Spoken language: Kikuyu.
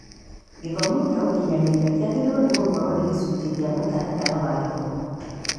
Gĩthomo kĩa ũkinyanĩria kĩagĩrĩirwo nĩ gũkorwo gĩ gĩcunjĩ kĩa mũtaratara wa githomo